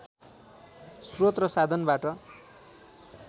श्रोत र साधनबाट